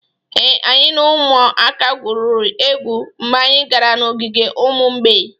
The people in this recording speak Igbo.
Ee, anyị na ụmụaka gwurịrị egwu mgbe anyị gara n'ogige ụmụ mgbei